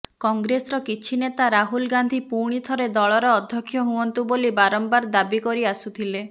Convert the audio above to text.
କଂଗ୍ରେସର କିଛି ନେତା ରାହୁଲ ଗାନ୍ଧି ପୁଣିଥରେ ଦଳର ଅଧ୍ୟକ୍ଷ ହୁଅନ୍ତୁ ବୋଲି ବାରମ୍ବାର ଦାବି କରି ଆସୁଥିଲେ